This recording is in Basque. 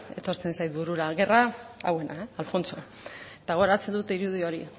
etortzen zait burura guerra hauena alfonso eta gogoratzen dut irudi hori